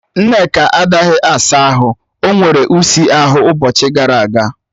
Nneka anaghị asa ahụ, o nwere ụsi ahụ ụbọchị gara aga